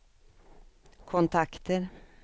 kontakter